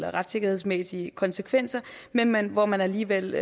retssikkerhedsmæssige konsekvenser men men hvor man alligevel